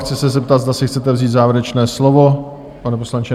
Chci se zeptat, zda si chcete vzít závěrečné slovo, pane poslanče?